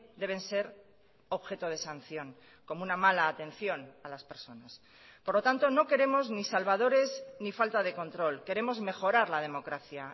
deben ser objeto de sanción como una mala atención a las personas por lo tanto no queremos ni salvadores ni falta de control queremos mejorar la democracia